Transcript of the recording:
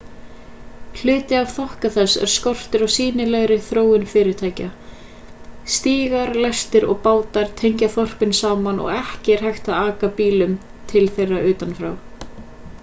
hluti af þokka þess er skortur á sýnilegri þróun fyrirtækja stígar lestir og bátar tengja þorpin saman og ekki er hægt að aka bílum til þeirra utan frá